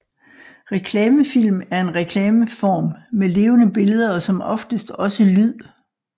Reklamefilm er en reklameform med levende billeder og som oftest også lyd